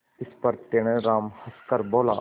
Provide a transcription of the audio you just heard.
इस पर तेनालीराम हंसकर बोला